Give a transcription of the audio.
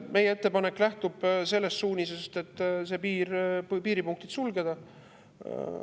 Meie ettepanek lähtub sellest suunisest, et piiripunktid sulgeda.